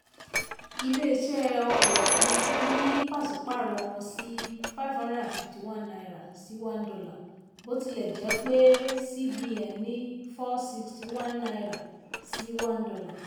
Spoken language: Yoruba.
iléeṣẹ́ ọkọ̀ òfuurufú yí pàṣípàrọ̀ wọn sí five hundred and fifty one naira sí one dollar bó tilẹ̀ jẹ́ pé cbn ní four hundred and sixty one naira sí one dollar